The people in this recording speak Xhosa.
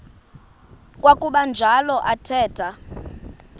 kwakuba njalo athetha